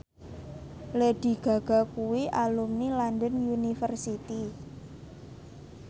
Lady Gaga kuwi alumni London University